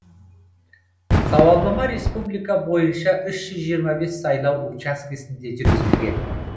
сауалнама республика бойынша үш жүз жиырма бес сайлау учаскесінде жүргізілген